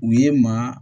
U ye maa